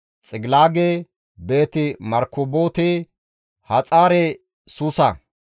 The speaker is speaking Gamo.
Xigilaage, Beeti-Markaboote, Haxaare-Suusa,